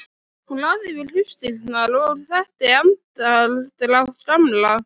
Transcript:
Hún lagði við hlustirnar og þekkti andardrátt Gamla.